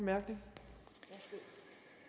af